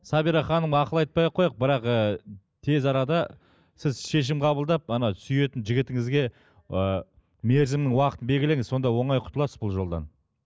сабира ханымға ақыл айтпай ақ қояйық бірақ ы тез арада сіз шешім қабылдап сүйетін жігітіңізге ы мерзімнің уақытын белгілеңіз сонда оңай құтыласыз бұл жолдан